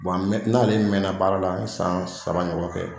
n'ale mɛnna baara la n ye san saba ɲɔgɔn kɛ.